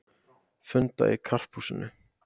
Funda í Karphúsinu